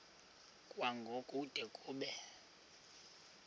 kwango kude kube